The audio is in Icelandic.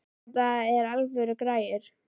Þetta eru alvöru græjur.